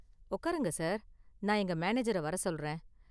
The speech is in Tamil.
உக்காருங்க சார், நான் எங்க மேனேஜர வர சொல்றேன்.